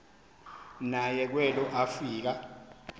naye kwelo afika